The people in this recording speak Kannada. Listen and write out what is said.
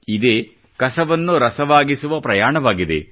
ಇದೇ ಕಸವನ್ನು ರಸವಾಗಿಸುವ ಪ್ರಯಾಣವಾಗಿದೆ